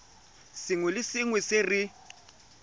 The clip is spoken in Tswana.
sengwe le sengwe se re